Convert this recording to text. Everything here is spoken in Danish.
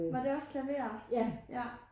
Var det også klaver? ja